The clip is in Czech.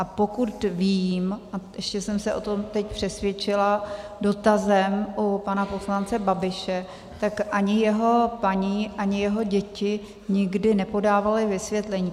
A pokud vím, a ještě jsem se o tom teď přesvědčila dotazem u pana poslance Babiše, tak ani jeho paní, ani jeho děti nikdy nepodávaly vysvětlení.